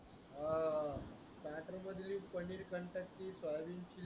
अं स्टाटरमध्ये लिह पनीर